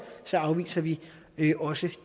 afviser vi vi også